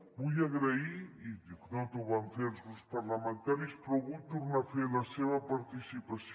vull agrair i ho van fer els grups parlamentaris però ho vull tornar a fer la seva participació